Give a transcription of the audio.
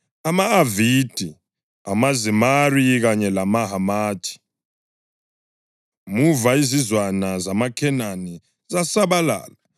ama-Avadi, amaZemari kanye lamaHamathi. (Muva izizwana zamaKhenani zasabalala